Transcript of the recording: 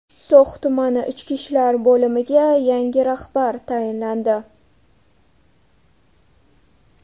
So‘x tumani Ichki ishlar bo‘limiga yangi rahbar tayinlandi.